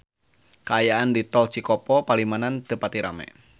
Kaayaan di Tol Cikopo Palimanan teu pati rame